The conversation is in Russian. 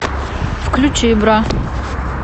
включи бра